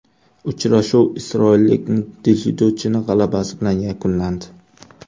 Uchrashuv isroillik dzyudochining g‘alabasi bilan yakunlandi.